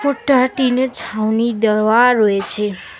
ওপরটা টিনের ছাউনি দেওয়া রয়েছে।